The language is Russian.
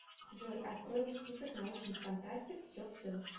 джой открой мне список научных фантастик все все